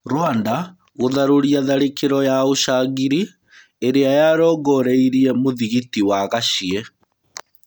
Rwanda gũtharũria tharĩkĩro ya ũcangiri irĩa yarongoreirie mũthigiti wa Gaciĩ.